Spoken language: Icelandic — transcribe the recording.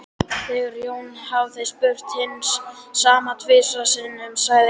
Þegar Jón hafði spurt hins sama tvisvar sinnum sagði Einar